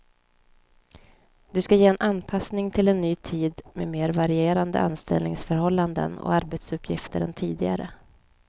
Det ska ge en anpassning till en ny tid med mer varierande anställningsförhållanden och arbetsuppgifter än tidigare.